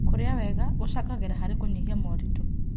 Kũrĩa wega gũcangagĩra harĩ kũnyihia moritũ.